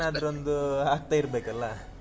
ಏನಾದರೊಂದು ಆಗ್ತಾಇರ್ಬೇಕಲ್ಲಾ.